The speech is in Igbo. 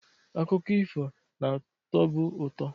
Akụkọ ifo na-atọbu ụtọ.